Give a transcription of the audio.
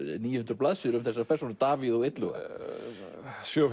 níu hundruð blaðsíður um þessar persónur Davíð og Illuga sjö